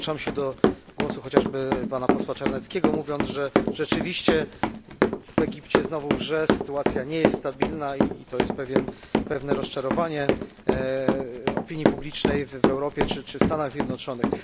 Dołączam się do głosu chociażby posła Czarneckiego, mówiąc, że rzeczywiście w Egipcie znowu wrze, sytuacja nie jest stabilna i to jest powodem pewnego rozczarowania opinii publicznej w Europie czy Stanach Zjednoczonych.